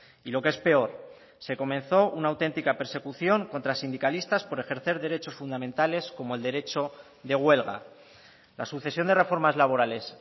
y lo que es peor se comenzó una autentica persecución contra sindicalistas por ejercer derechos fundamentales como el derecho de huelga la sucesión de reformas laborales